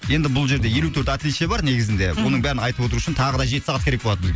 енді бұл жерде елу төрт отличие бар негізінде оның бәрін айтып отыру үшін тағы да жеті сағат керек болады